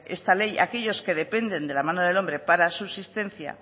esta ley aquellos que dependen de la mano del hombre para su existencia